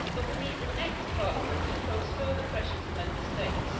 But we need the next Parliament to transfer the pressure to Member States.